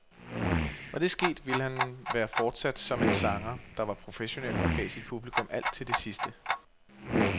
Var det sket, ville han være fortsat som en sanger, der var professionel og gav sit publikum alt til det sidste.